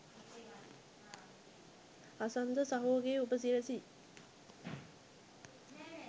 හසන්ත සහෝ ගේ උපසිරැසි